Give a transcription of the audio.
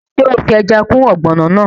Ṣé o fi ẹja kún ọ̀gbọ̀nọ̀ náà?